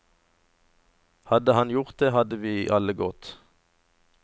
Hadde han gjort det, hadde vi alle gått.